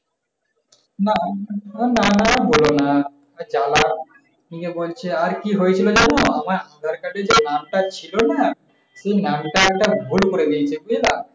না নানা বোল না যালা। আর কি হয়ছিল যান? আমার দরকারি যেই নামটা ছিল না? সেই নামটা একটা ভুল করে দিয়েছে বুঝলা?